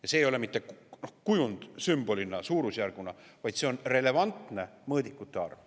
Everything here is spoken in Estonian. Ja see ei ole mitte kujund, sümbolina, suurusjärguna, vaid see on relevantne mõõdikute arv.